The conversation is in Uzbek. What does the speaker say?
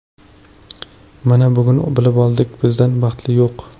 Mana, bugun bilib oldik, bizdan baxtli yo‘q.